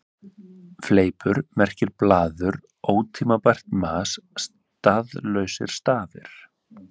Fleipur merkir blaður, ótímabært mas, staðlausir stafir.